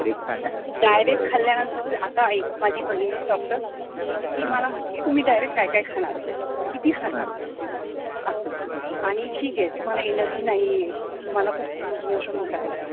direct खाल्ल्यानंतर आता एक माझी बहीण आहे doctor तर ती मला म्हटली कि तुम्ही direct कायकाय खाणारे किती खाणार, असं आणि ठीक आहे तुम्हाला energy नाहीये तुम्हाला खूप loose motion होतायत